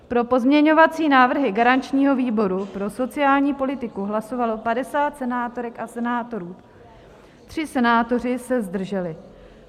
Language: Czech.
Pro pozměňovací návrhy garančního výboru pro sociální politiku hlasovalo 50 senátorek a senátorů, tři senátoři se zdrželi.